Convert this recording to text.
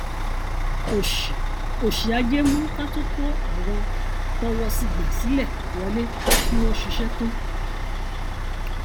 òṣì òṣì ajé mú ká tún kó àwọn tọwọsí gbà sílẹ wọlé kí wón ṣiṣẹ tán